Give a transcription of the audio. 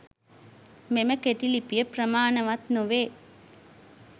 මෙම කෙටි ලිපිය ප්‍රමාණවත් නොවේ.